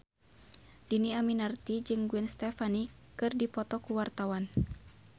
Dhini Aminarti jeung Gwen Stefani keur dipoto ku wartawan